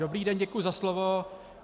Dobrý den, děkuji za slovo.